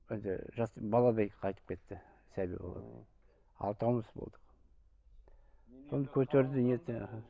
енді жасты баладай қайтып кетті сәби алтауымыз болдық соны көтерді нетті іхі